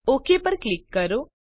okay પર click કરો